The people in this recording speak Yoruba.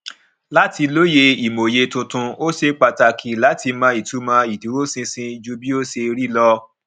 láti lóye ìmòye tuntun ó ṣe pàtàkì láti mọ ìtumọ ìdúróṣinṣin jù bí ó ṣe rí lọ